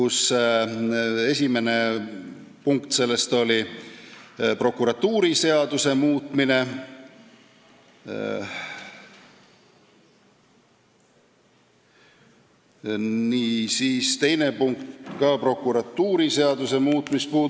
Selle esimene punkt muudab prokuratuuriseadust ja ka teine punkt puudutab prokuratuuriseaduse muutmist.